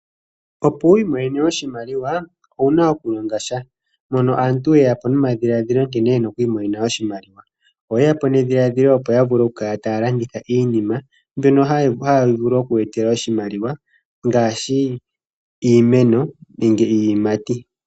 Opo wu imonene oshimaliwa, owuna okulongasha. Mono aantu oyeyapo nomadhiladhilo nkene yena okwiimonena oshimaliwa. Oyeyapo nedhiladhilo opo yavule okukala taya landitha iinima, mbyoka tayi vulu okuya etela oshimaliwa, ngaashi iimeno, nenge iiyimati.